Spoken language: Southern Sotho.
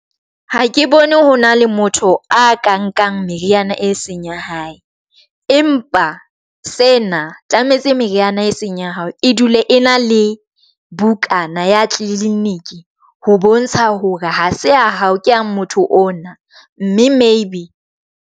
Ha ke bone ho na le motho a ka nkang meriana e seng ya hae, empa sena tlametse meriana e seng ya hao. E dule e na le bukana ya tliliniki ho bontsha hore ha se ya hao ke yang motho ona, mme maybe.